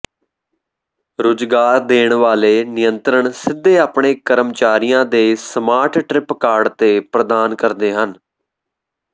ਰੁਜ਼ਗਾਰ ਦੇਣ ਵਾਲੇ ਨਿਯੰਤ੍ਰਣ ਸਿੱਧੇ ਆਪਣੇ ਕਰਮਚਾਰੀਆਂ ਦੇ ਸਮਾਰਟ ਟਰਿਪ ਕਾਰਡ ਤੇ ਪ੍ਰਦਾਨ ਕਰਦੇ ਹਨ